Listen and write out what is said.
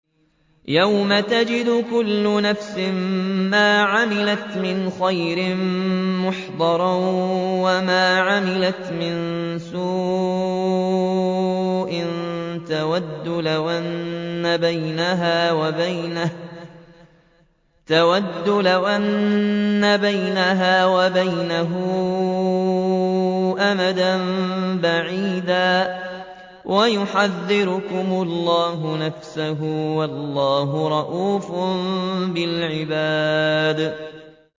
يَوْمَ تَجِدُ كُلُّ نَفْسٍ مَّا عَمِلَتْ مِنْ خَيْرٍ مُّحْضَرًا وَمَا عَمِلَتْ مِن سُوءٍ تَوَدُّ لَوْ أَنَّ بَيْنَهَا وَبَيْنَهُ أَمَدًا بَعِيدًا ۗ وَيُحَذِّرُكُمُ اللَّهُ نَفْسَهُ ۗ وَاللَّهُ رَءُوفٌ بِالْعِبَادِ